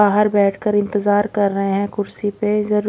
बाहर बैठकर इंतजार कर रहे हैं कुर्सी पे जर--